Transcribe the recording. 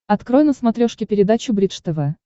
открой на смотрешке передачу бридж тв